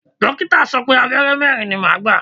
Dókítà sọ pé Abẹ́rẹ́ mẹ́rin ni màá gbà.